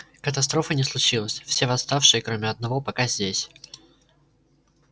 катастрофы не случилось все восставшие кроме одного пока здесь